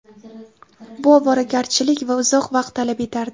Bu ovoragarchilik va uzoq vaqt talab etardi.